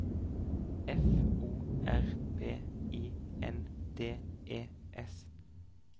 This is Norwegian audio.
F O R B I N D E S